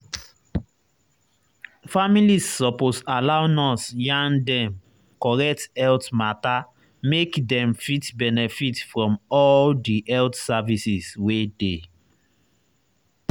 families suppose allow nurse yarn dem correct health matter make dem fit benefit from all di health services wey dey.